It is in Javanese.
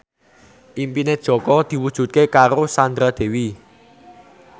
impine Jaka diwujudke karo Sandra Dewi